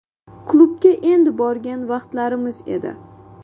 Klubga endi borgan vaqtlarimiz edi.